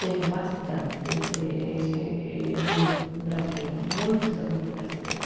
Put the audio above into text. Temos bastante eh amigos brasileiros, muitos amigos brasileiros.